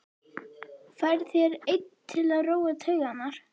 Færð þér einn til að róa taugarnar.